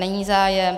Není zájem.